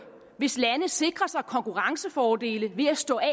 hvis lande sikrer sig konkurrencefordele ved at stå af